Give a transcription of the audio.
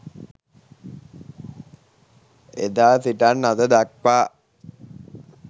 එදා සිටන් අද දක්වා